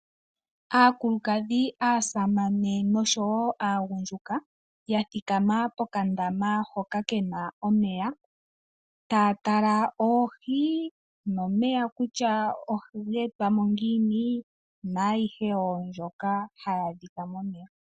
Aakulukadhi , aasamane nosho wo angundjuka yathikama pokandama hoka kena omeya tatala oohii, momeya kutya oha getwamo ngiini nayihe wo mbyoka haya dhikwa momeya.